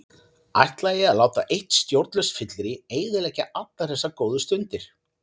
Ætlaði ég að láta eitt stjórnlaust fyllirí eyðileggja allar þessar góðu stundir?